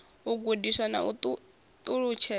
u gudiwa na u ṱalutshedzwa